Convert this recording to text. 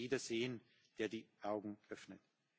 Das muss jeder sehen, der die Augen öffnet.